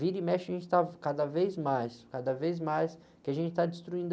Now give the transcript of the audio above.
Vira e mexe, a gente está cada vez mais, cada vez mais, que a gente está destruindo.